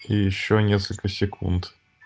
и ещё несколько секунд